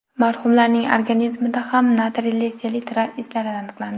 Marhumlarning organizmida ham natriyli selitra izlari aniqlandi.